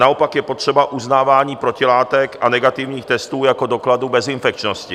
Naopak je potřeba uznávání protilátek a negativních testů jako dokladu bezinfekčnosti.